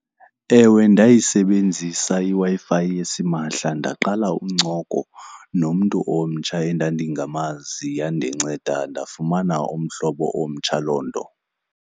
Ewe, ndayisebenzisa iWi-Fi yasimahla ndaqala incoko nomntu omtsha endandingamazi. Yandinceda ndafumana umhlobo omtsha loo nto.